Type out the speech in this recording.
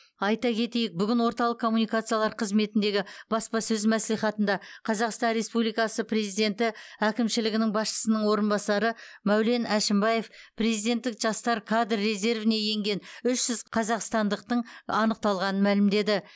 айта кетейік бүгін орталық коммуникациялар қызметіндегі баспасөз мәслихатында қазақстан республикасы президенті әкімшілігінің басшысының орынбасары мәулен әшімбаев президенттік жастар кадр резервіне енген үш жүз қазақстандықтың анықталғанын мәлімдеді